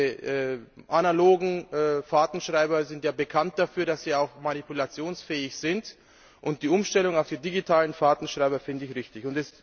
Diese analogen Fahrtenschreiber sind ja bekannt dafür, dass sie auch manipulationsfähig sind, und die Umstellung auf die digitalen Fahrtenschreiber finde ich richtig.